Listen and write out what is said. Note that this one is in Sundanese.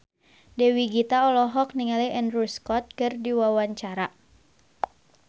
Dewi Gita olohok ningali Andrew Scott keur diwawancara